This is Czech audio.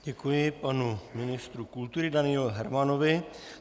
Děkuji panu ministru kultury Danielu Hermanovi.